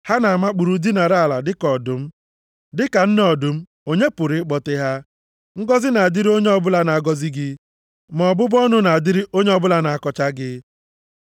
Ha na-amakpuru, dinara ala dịka ọdụm, dịka nne ọdụm, onye pụrụ ịkpọte ha? “Ngọzị na-adịrị onye ọ bụla na-agọzi gị, ma ọbụbụ ọnụ na-adịrị onye ọbụla na-akọcha gị.”